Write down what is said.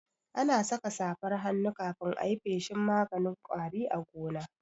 Ana saka safar hannu kafin ayi feshin maganin ƙwari a gona